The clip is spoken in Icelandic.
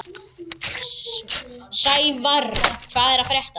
Sævarr, hvað er að frétta?